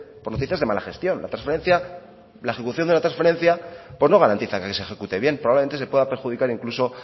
por noticias de mala gestión la ejecución de la transferencia no garantiza que se ejecute bien probablemente se pueda perjudicar incluso